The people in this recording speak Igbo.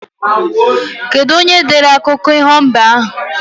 Kedu onyere dere akụko iho mbe ahu